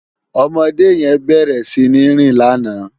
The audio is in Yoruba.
Òmòdé yèn bèrè sini rín làná